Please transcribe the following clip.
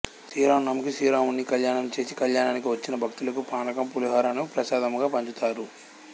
శ్రీ రామ నవమికి శ్రీరాముని కళ్యాణం చేసి కళ్యాణానికి వచ్చిన భక్తులకు పానకం పులిహోరను ప్రసాదముగా పంచుతారు